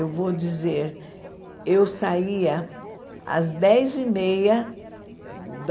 Eu vou dizer, eu saía às dez e meia da